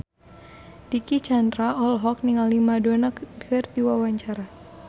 Dicky Chandra olohok ningali Madonna keur diwawancara